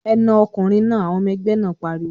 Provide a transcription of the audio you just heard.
"Ẹ na ọkùnrin náà!" Àwọn ọmọ-ẹgbẹ́ náà pariwo.